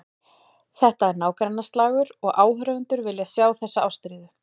Þetta er nágrannaslagur og áhorfendur vilja sjá þessa ástríðu.